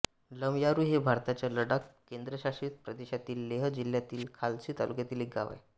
लमयारू हे भारताच्या लडाख केंद्रशासित प्रदेशातील लेह जिल्हातील खालसी तालुक्यातील एक गाव आहे